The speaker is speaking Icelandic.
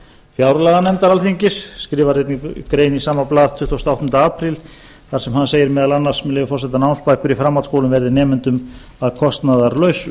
fjárlaganefndar alþingis skrifar einnig grein í sama blað tuttugasta og áttunda apríl þar sem hann segir meðal annars með leyfi forseta námsbækur í framhaldsskólum verði nemendum að kostnaðarlausu